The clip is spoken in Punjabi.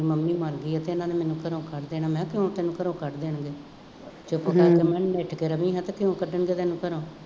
ਮੰੰਮੀ ਮਰ ਗਈ ਅਤੇ ਇਹਨਾ ਨੇ ਮੈਨੂੰ ਘਰੋਂ ਕੱਢ ਦੇਣਾ, ਮੈਂ ਕਿਹਾ ਕਿਉਂ ਤੈਨੂੰ ਘਰੋਂ ਕੱਢ ਦੇਣਗੇ, ਚੁੱਪ ਕਰਕੇ ਮਿੱਥ ਕੇ ਰਹਵੀਂ ਅਤੇ ਕਿਉਂ ਕੱਢਣਗੇ ਤੈਨੂੰ ਘਰੋਂ